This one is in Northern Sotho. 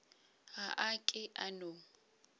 ga a ke a no